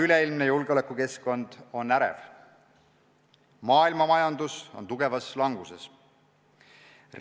Üleilmne julgeolekukeskkond on ärev, maailmamajandus on tugevas languses.